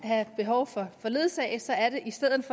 brug for ledsagelse er det i stedet